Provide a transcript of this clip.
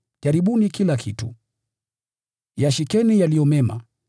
Jaribuni kila kitu. Yashikeni yaliyo mema.